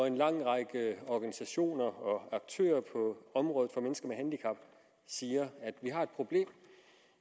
en lang række organisationer og aktører på området for mennesker med handicap siger vi har et problem